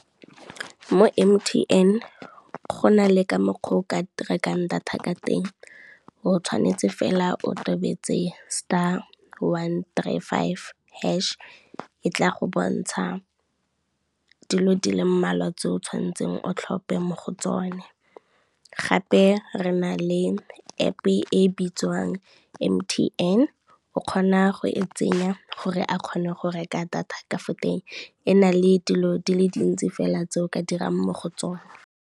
Mo M_T_N go nale ka mokgwa o ka rekang data ka teng o tshwanetse fela o totobetse, star, one, three, five, hash e tla go bontsha dilo di le mmalwa tse o tshwanetseng o tlhophe mo go tsone. Gape re na le App e bitswang M_T_N o kgona go e tsenya gore a kgone go reka data ka fo teng, e na le dilo di le dintsi fela tse o ka dirang mo go tsone.